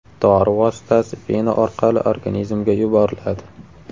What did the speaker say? Dori vositasi vena orqali organizmga yuboriladi.